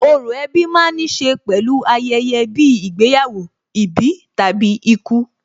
Orò ẹbí ma ń níṣe pẹ̀lú ayẹyẹ bíi ìgbéyàwó, ìbí tàbí ikú.